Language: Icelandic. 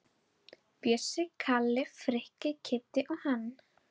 Bjössi, Kalli, Frikki, Kiddi og hann.